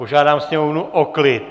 Požádám sněmovnu o klid!